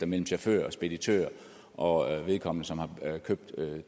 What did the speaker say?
mellem chaufføren og speditøren og vedkommende som havde købt